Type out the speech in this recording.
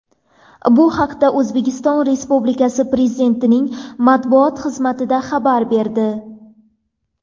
Bu haqda O‘zbekiston Respublikasi Prezidentining matbuot xizmati xabar berdi .